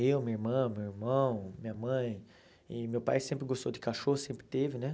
Eu, minha irmã, meu irmão, minha mãe, e meu pai sempre gostou de cachorro, sempre teve, né?